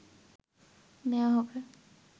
নেয়া হবে